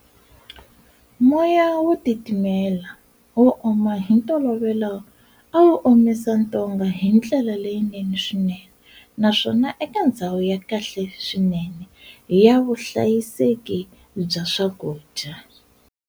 Moya wo titimela, wo oma hi ntolovelo awu omisa ntonga hindlela leyinene swinene, naswona eka ndzhawu ya kahle swinene ya vuhlayiseki bya swakudya.